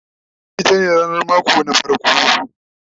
littani itace ranar mako ta farko